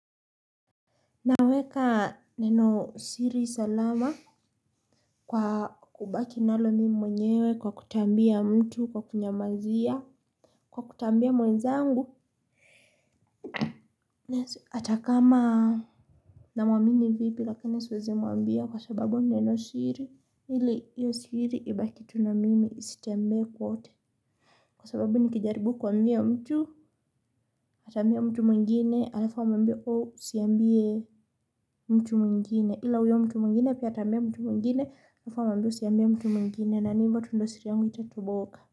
Naweka neno siri salama kwa kubaki nalo mimi mwenyewe kwa kutoambia mtu kwa kunyamazia kwa kutoambia mwenzangu hata kama namwamini vipi lakini siwezi mwambia kwa sababu neno siri ili hiyo siri ibaki tu na mimi isitembee kwote. Kwa sababu nikijaribu kuambia mtu ataambia mtu mwingine halafa amwambie ooh usiambie mtu mwingine ila huyo mtu mwingine pia ataambia mtu mwingine halafa amwambie mtu mwingine na ni ivo tu ndo siri yangu itatoboka.